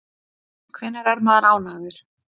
Hvenær er maður ánægður?